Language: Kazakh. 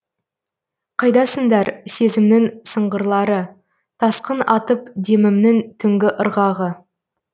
қайдасыңдар сезімнің сыңғырлары тасқын атып демімнің түнгі ырғағы